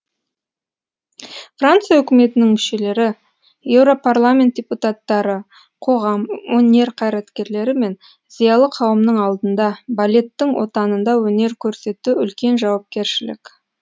франция үкіметінің мүшелері еуропарламент депутаттары қоғам өнер қайраткерлері мен зиялы қауымның алдында балеттің отанында өнер көрсету үлкен жауапкершілік